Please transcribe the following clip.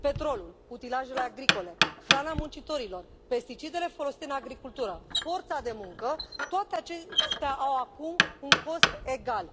Petrolul, utilajele agricole, hrana muncitorilor, pesticidele folosite în agricultură, forța de muncă, toate acestea au acum un cost egal